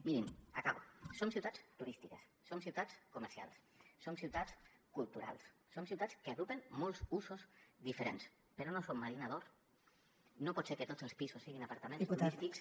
mirin acabo som ciutats turístiques som ciutats comercials som ciutats culturals som ciutats que agrupen molts usos diferents però no som marina d’or no pot ser que tots els pisos siguin apartaments turístics